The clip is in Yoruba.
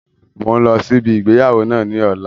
Mo ń lọ sí ibi ìgbéyàwó náà ni ọ̀la